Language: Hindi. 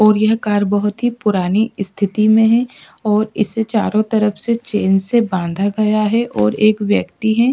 और यह कार बहुत ही पुरानी स्थिति में है और इसे चारों तरफ से चेन से बांधा गया है और एक व्यक्ति है।